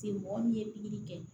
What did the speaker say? Se mɔgɔ min ye pikiri kɛ